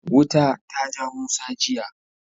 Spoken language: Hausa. Wuta ta ja Musa jiya.